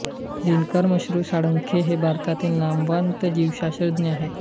दिनकर मश्नू साळुंखे हे भारतातील नामवंत जीवशास्त्रज्ञ आहेत